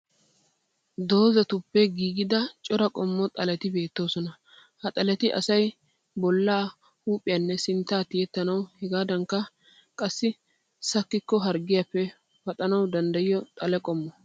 Doozzatuppe giigida cora qommo xaleti beettoosona. Ha xaleti asayi bollaa, huuphiyanne sintta tiyettanawu hegaadankka qassi sakkikko harggiyappe pattanawu danddayiya xale qommo.